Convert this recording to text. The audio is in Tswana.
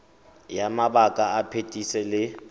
ya mabaka a phetiso le